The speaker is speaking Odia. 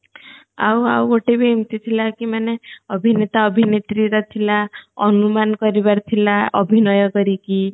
ଆଉ ଆଉ ଗୋଟେ ବି ଏମିତି ଥିଲା କି ମନେ ଅଭିନେତା ଅଭିନେତ୍ରୀ ର ଥିଲା ଅନୁମାନ କରିବାର ଥିଲା ଅଭିନୟ କରିକି